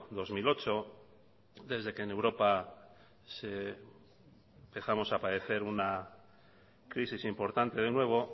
dos mil ocho desde que en europa empezamos a padecer una crisis importante de nuevo